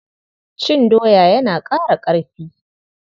Cin doya yana ƙara ƙarfi.